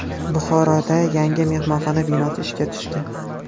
Buxoroda yangi mehmonxona binosi ishga tushdi.